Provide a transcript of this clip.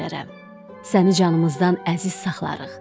Səni canımızdan əziz saxlarıq.